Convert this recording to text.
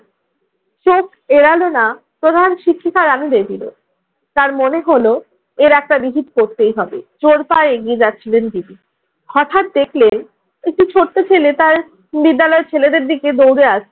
চোখ এড়ালো না প্রধান শিক্ষিকা রানু ভেদিরও। তার মনে হলো, এর একটা বিহিত করতেই হবে। জোর পায়ে এগিয়ে যাচ্ছিলেন ভেদি। হঠাৎ দেখলেন একটি ছোট্ট ছেলে তার বিদ্যালয়ের ছেলেদের দিকে দৌড়ে আসছে।